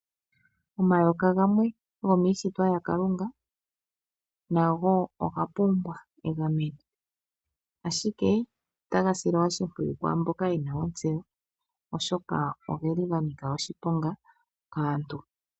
Omayoka gamwe gomiishitwa yaKalunga nago oga pumbwa egameno ashike taga silwa oshimpiyu kwaamboka yena ontseyo oshoka ogeli ganika oshiponga kaantu.